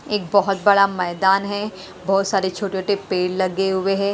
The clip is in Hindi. एक बहुत बड़ा मैदान है बहुत सारे छोटे-छोटे पेड़ लगे हुए हैं।